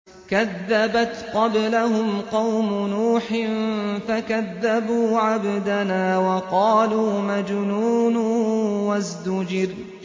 ۞ كَذَّبَتْ قَبْلَهُمْ قَوْمُ نُوحٍ فَكَذَّبُوا عَبْدَنَا وَقَالُوا مَجْنُونٌ وَازْدُجِرَ